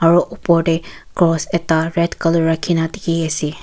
Aro opor dae cross ekta red colour rakhina dekhey ase.